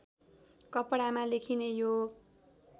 कपडामा लेखिने यो